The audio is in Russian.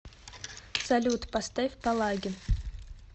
салют поставь палагин